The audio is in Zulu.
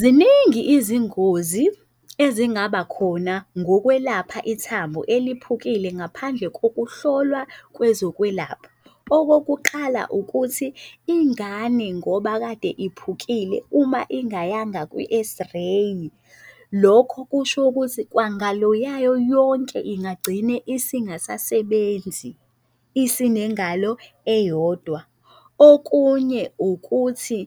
Ziningi izingozi ezingaba khona ngokwelapha ithambo eliphukile ngaphandle kokuhlolwa kwezokwelapha. Okokuqala, ukuthi ingane ngoba kade iphukile uma ingayanga kwi-X-ray, lokho kusho ukuthi kwangalo yayo yonke ingagcine isingasasebenzi, isinengalo eyodwa. Okunye ukuthi